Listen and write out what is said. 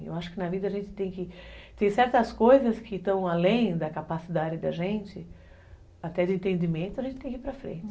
Eu acho que na vida a gente tem que... Tem certas coisas que estão além da capacidade da gente, até de entendimento, a gente tem que ir para frente.